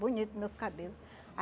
Bonito meus cabelo